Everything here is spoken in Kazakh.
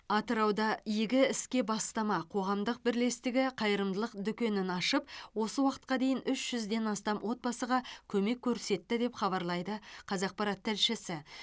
атырауда игі іске бастама қоғамдық бірлестігі қайырымдылық дүкенін ашып осы уақытқа дейін үш жүзден астам отбасыға көмек көрсетті деп хабарлайды қазақпарат тілшісі